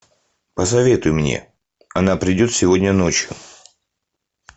посоветуй мне она придет сегодня ночью